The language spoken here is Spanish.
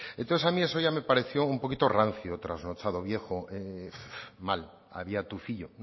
entonces a mí eso ya me pareció un poquito rancio trasnochado viejo mal había tufillo